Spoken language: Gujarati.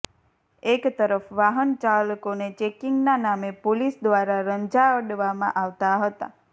એકતરફ વાહનચાલકોને ચેકીંગના નામે પોલીસ દ્વારા રંજાડવામાં આવતા હતા